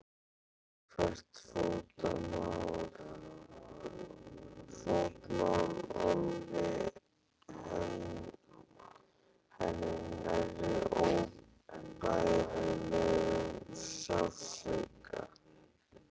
Hvert fótmál olli henni nærri óbærilegum sársauka.